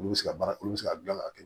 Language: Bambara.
Olu bɛ se ka baara olu bɛ se ka dilan k'a kɛ